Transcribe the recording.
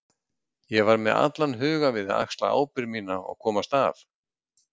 Ég var með allan hugann við að axla ábyrgð mína og komast af.